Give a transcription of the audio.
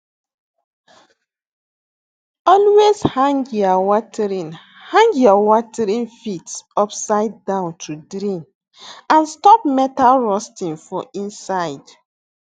always hang ya watering hang ya watering fit upside down to drain and stop metal rusting for inside